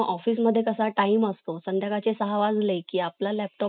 अध्यक्षांच्या अनुपस्थित अं लोकसभाच्या बैठक ची अध्यक्षस्थान, उपाध्यक्ष अं घोषवितो अं राज्यसभा